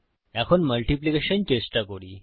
এখন মাল্টিপ্লিকেশন গুণন চেষ্টা করি